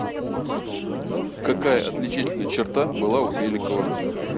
какая отличительная черта была у беликова